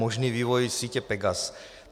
Možný vývoj sítě PEGAS.